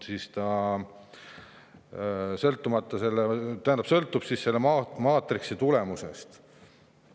See sõltub selle maatriksi tulemusest.